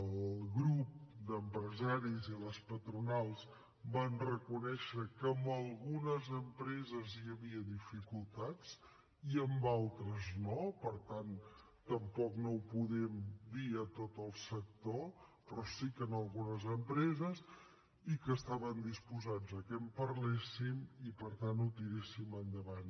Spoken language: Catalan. el grup d’empresaris i les patronals van reconèixer que en algunes empreses hi havia dificultats i en d’altres no per tant tampoc no ho podem dir a tot el sector però sí que en algunes empreses i que estaven disposat que en parléssim i per tant ho tiréssim endavant